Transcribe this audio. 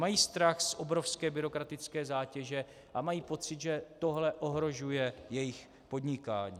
Mají strach z obrovské byrokratické zátěže a mají pocit, že tohle ohrožuje jejich podnikání.